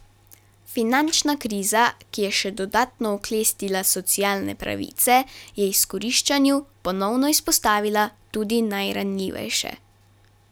Finančna kriza, ki je še dodatno oklestila socialne pravice, je izkoriščanju ponovno izpostavila tudi najranljivejše.